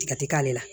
Tigɛ ti k'ale la